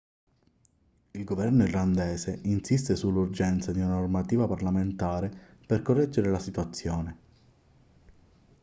il governo irlandese insiste sull'urgenza di una normativa parlamentare per correggere la situazione